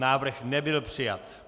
Návrh nebyl přijat.